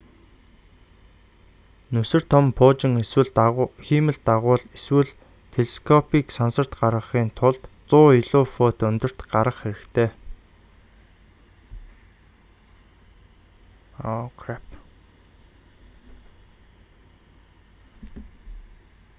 нүсэр том пуужин хиймэл дагуул эсвэл телескопыг сансарт гаргахын тулд 100 илүү фут өндөрт гарах хэрэгтэй